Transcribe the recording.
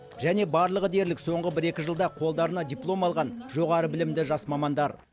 және барлығы дерлік соңғы бір екі жылда қолдарына диплом алған жоғары білімді жас мамандар